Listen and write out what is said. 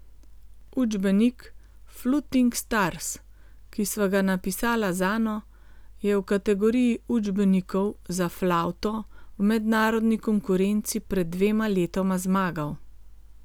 Učbenik Fluting Stars, ki sva ga napisala z Ano, je v kategoriji učbenikov za flavto v mednarodni konkurenci pred dvema letoma zmagal.